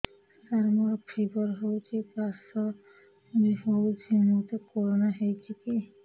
ସାର ମୋର ଫିବର ହଉଚି ଖାସ ବି ହଉଚି ମୋତେ କରୋନା ହେଇଚି କି